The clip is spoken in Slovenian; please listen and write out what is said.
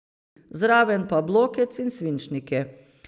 Zraven pa blokec in svinčnike.